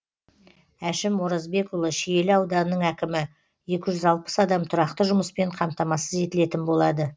әшім оразбекұлы шиелі ауданының әкімі екі жүз алпыс адам тұрақты жұмыспен қамтамасыз етілетін болады